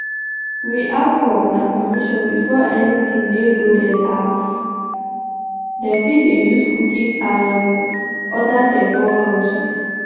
we ask for una permission before anytin dey loaded as dem fit dey use cookies and um oda technologies